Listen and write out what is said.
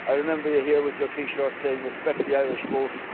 I remember you here with your T shirt saying respect the Irish vote'.